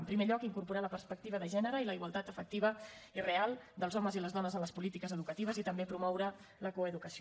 en primer lloc incorporar la perspectiva de gènere i la igualtat efectiva i real dels homes i les dones en les polítiques educatives i també promoure la coeducació